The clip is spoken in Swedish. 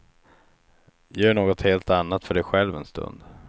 Gör något helt annat för dig själv en stund.